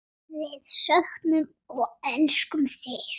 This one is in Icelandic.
Við söknum og elskum þig.